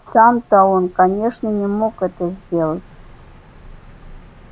сам то он конечно не мог это сделать